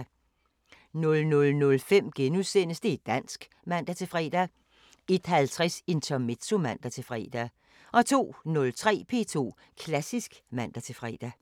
00:05: Det´ dansk *(man-fre) 01:50: Intermezzo (man-fre) 02:03: P2 Klassisk (man-fre)